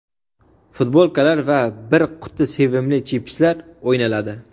futbolkalar va bir quti sevimli chipslar o‘ynaladi.